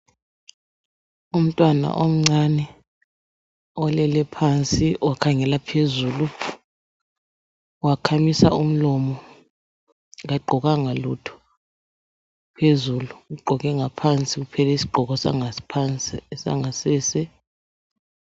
Umntwana omncane olele phansi wakhangela phezulu wakhamisa umlomo kagqokanga lutho phezulu. Ugqoke ngaphansi kuphela isgqoko sangaphansi sangasese.